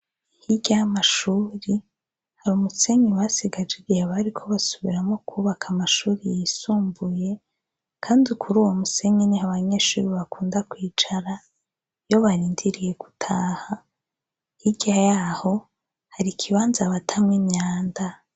Hirya y' amashure hari umusenyi basigaje igihe bariko basubiramwo kwubaka amashure yisumbuye kandi kuri uwo musenyi hari abanyeshure bakunda kwicara iyo barindiriye gutaha, hirya yaho hari ikibanza batamwo imyanda.